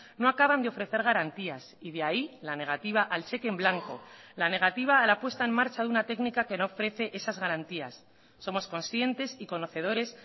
no acaban de ofrecer garantías y de ahí la negativa al cheque en blanco la negativa a la puesta en marcha de una técnica que no ofrece esas garantías somos conscientes y conocedores